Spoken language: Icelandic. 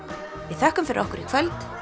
við þökkum fyrir okkur í kvöld